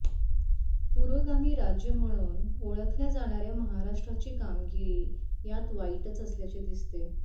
पुरोगामी राज्य म्हणून ओळखल्या जाणाऱ्या महाराष्ट्राची कामगिरी यात वाईटच असल्याचे दिसते